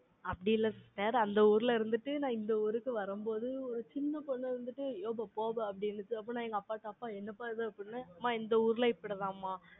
அப்படி இல்ல sister அந்த ஊர்ல இருந்துட்டு, நான் இந்த ஊருக்கு வரும்போது, ஒரு சின்ன பொண்ணு வந்துட்டு, ஏமா போமா அப்படினுச்சி அப்ப நா எங்க அப்பாக்கிட்ட அப்பா என்ன பா இது அம்மா இந்த ஊர்ல இப்படிதாம்மா,